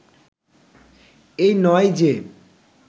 এই নয় যে